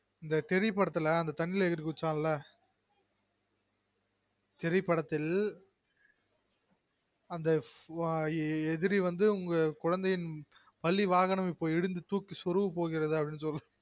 அந்த தெரி படத்துல அந்த தண்ணில ஏரி குதிசான்ல தெரி படதில் அந்த எதிரி வந்து உங்க குழந்தையின் பள்ளி வாகனம் வந்து இடித்து தூக்கி சொருக பொகுது